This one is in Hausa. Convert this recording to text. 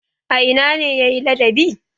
A ina ne ya yi ladabi?